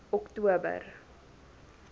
oktober